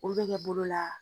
Olu bɛ kɛ bolo la.